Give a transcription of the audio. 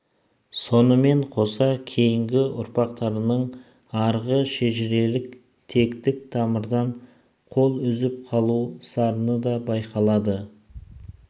сонымен қоса кейінгі ұрпақтарының арғы шежірелік тектік тамырдан қол үзіп қалу сарыны да байқалады